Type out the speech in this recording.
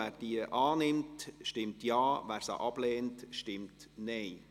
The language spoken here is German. Wer diese annimmt, stimmt Ja, wer diese ablehnt, stimmt Nein.